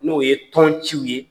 N'o ye tɔn ciw ye.